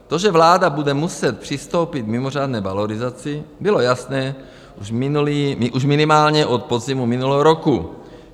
To, že vláda bude muset přistoupit k mimořádné valorizaci, bylo jasné už minimálně od podzimu minulého roku.